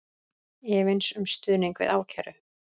Efins um stuðning við ákæru